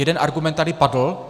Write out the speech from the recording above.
Jeden argument tady padl.